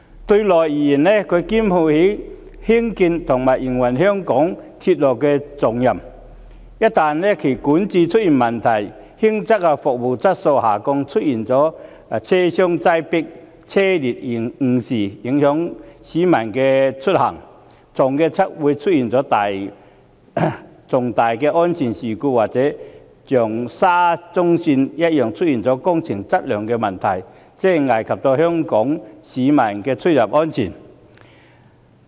對內而言，港鐵公司肩負興建和營運香港鐵路的重任，一旦管治出現問題，輕則服務質素下降，出現車廂擠迫、班次延誤，影響市民出行，重則出現重大安全事故，或一如沙中線工程般，出現工程質素問題，危及香港市民的出入安全。